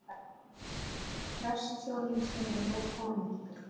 Prestshjónin séra Jón og Ingibjörg